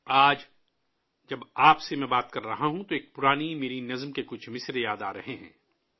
آج جب میں ، آپ سے بات کر رہا ہوں تو مجھے اپنی ایک پرانی نظم کی چند سطریں یاد آ رہی ہیں...